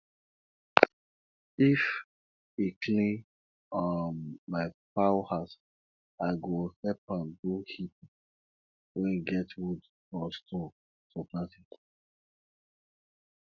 if e clean um my fowl house i go help am do heap wey get wood or stone for planting